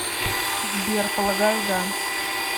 сбер полагаю да